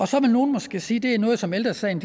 så vil nogle måske sige at det er noget som ældre sagen